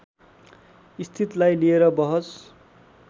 स्थितलाई लिएर बहस